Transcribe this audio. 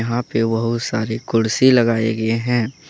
यहां पे बहुत सारी कुर्सी लगाए गए हैं।